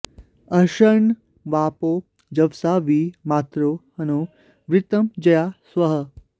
अर्ष॒न्त्वापो॒ जव॑सा॒ वि मा॒तरो॒ हनो॑ वृ॒त्रं जया॒ स्वः॑